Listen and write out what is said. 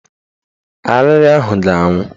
Arịrị ahụ ga-anwụ